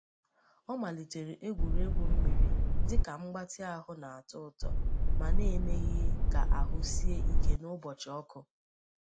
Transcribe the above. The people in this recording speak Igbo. Ha malitere egwuregwu mmiri dị ka mgbatị ahụ na-atọ ụtọ ma na-emeghị ka ahụ sie ike n’ụbọchị ọkụ.